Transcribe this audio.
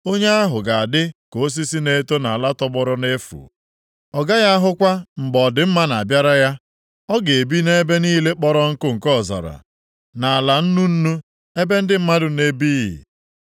Onye ahụ ga-adị ka osisi na-eto nʼala tọgbọrọ nʼefu. Ọ gaghị ahụkwa mgbe ọ dịmma na-abịara ya. Ọ ga-ebi nʼebe niile kpọrọ nkụ nke ọzara, nʼala nnu nnu, ebe ndị mmadụ na-ebighị.